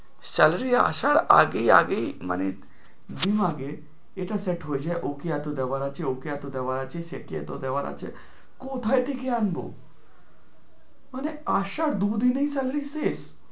Salary আসার আগেই আগেই মানে এটা set হয়ে যায় ওকে এতো দেবার আছে ওকে এতো দেবার আছে সেকে এতো দেবার আছে কোথায় থেকে আনবো? মানে আসার দুদিনেই salary শেষ।